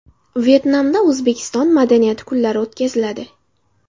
Vyetnamda O‘zbekiston madaniyati kunlari o‘tkaziladi.